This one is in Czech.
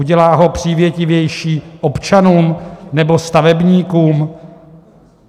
Udělá ho přívětivější občanům nebo stavebníkům?